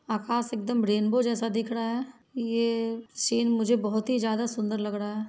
आकास एकदम रेनबो जैसा दिख रहा है ये सीन मुझे बहुत ही ज्यादा सुंदर लग रहा है।